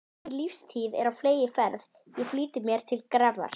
Mín lífstíð er á fleygiferð, ég flýti mér til grafar.